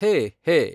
ಹೇ ಹೇ